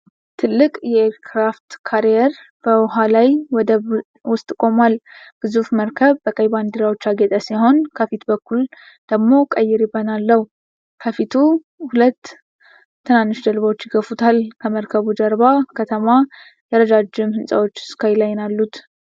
ትልቅ የኤር ክራፍት ካሪየር በውኃ ላይ ወደብ ውስጥ ቆሟል። ግዙፉ መርከብ በቀይ ባንዴራዎች ያጌጠ ሲሆን፣ ከፊት በኩል ደግሞ ቀይ ሪበን አለው። ከፊቱ ሁለት ትናንሽ ጀልባዎች ይገፉታል። ከመርከቡ ጀርባ ከተማ የረጃጅም ህንጻዎች ስካይ ላይን አሉ።